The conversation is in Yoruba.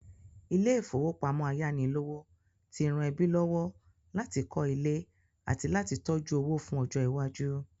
Ilé-ìfowópamọ ayánilówó ti ran ẹbí lọ́wọ́ láti kọ́ ilé àti láti tójú owó fún ọjọ́ iwájú.